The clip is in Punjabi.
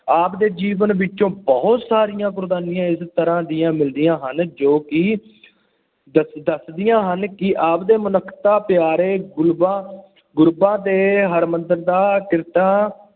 ਆਪ ਦੇ ਜੀਵਨ ਵਿਚੋਂ ਬਹੁਤ ਸਾਰੀਆਂ ਉਗਰਾਹੀਆਂ ਇਸ ਤਰ੍ਹਾਂ ਦੀਆਂ ਮਿਲਦੀਆਂ ਹਨ ਜੋ ਕਿ ਦੱਸ ਦੱਸਦੀਆਂ ਹਨ ਕਿ ਆਪ ਦੇ ਮਨੁੱਖਤਾ ਪਿਆਰੇ ਗੁਰਬਾਂ, ਗੁਰਬਾਂ ਦੇ ਹਮਦਰਦ ਦਾ ਕਿਰਤਾਂ